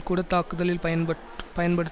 கூட தாக்குதலில் பயன்பட் பயன்படுத்